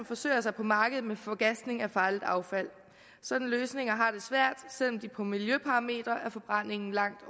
forsøger sig på markedet med forgasning af farligt affald sådanne løsninger har det svært selv om de målt på miljøparametre er forbrændingen langt